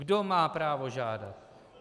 Kdo má právo žádat?